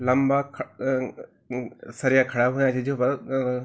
लंबा ख अ अ सरिया खडा हुया छिन जूफर ।